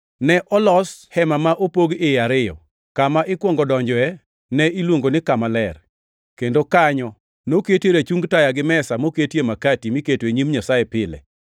Ne olos hema ma opog iye ariyo. Kama ikwongo donjoe ne iluongo ni Kama Ler, kendo kanyo noketie rachung taya gi mesa moketie makati miketo e nyim Nyasaye pile.